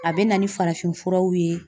A bɛ na ni farafin furaw ye.